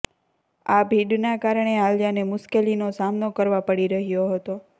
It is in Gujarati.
આ ભીડના કારણે આલિયાને મુશ્કેલીનો સામનો કરવા પડી રહ્યો હતો